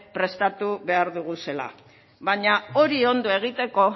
prestatu behar ditugula baina hori ondo egiteko